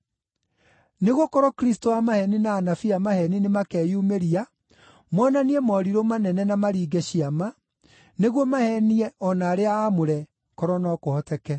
Nĩgũkorwo Kristũ a maheeni na anabii a maheeni nĩmakeyumĩria monanie morirũ manene na maringe ciama, nĩguo maheenie o na arĩa aamũre, korwo no kũhoteke.